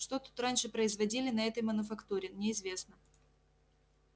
что тут раньше производили на этой мануфактуре неизвестно